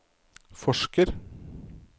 forsker